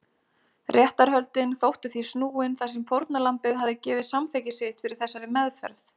Réttarhöldin þóttu því snúin þar sem fórnarlambið hafði gefið samþykki sitt fyrir þessari meðferð.